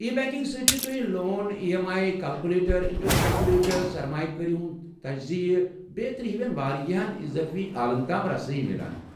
ای۔ Banking سۭتۍ چھِ تۄہہِ، loan E M I calculator, interest calculator, سرمایہِ کٲری ہُنٛد تجزیہِ بیترِ ہِوین واریاہن اضٲفی آلن تام رسٲیی میلان ۔